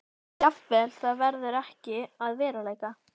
Jafnvel það verður ekki að veruleika.